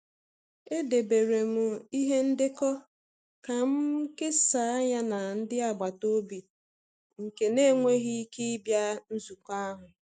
Edebere m ihe ndekọ ka m kesaa ya na ndị agbata obi nke n'enweghi ike ike ịbịa nzukọ ahụ.